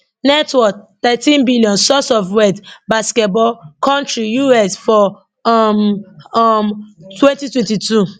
net worth thirteen billion source of wealth basketball country US for um um twenty twenty two